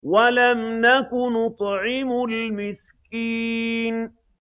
وَلَمْ نَكُ نُطْعِمُ الْمِسْكِينَ